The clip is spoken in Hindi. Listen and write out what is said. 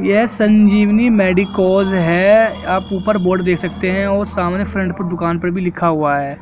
यह संजीवनी मेडिकल है आप ऊपर बोर्ड दे सकते हैं और सामने फ्रंट पर दुकान पर भी लिखा हुआ है